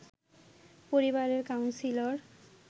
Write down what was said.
পরিবারের কাউন্সিলর